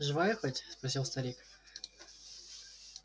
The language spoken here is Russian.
живая хоть спросил старик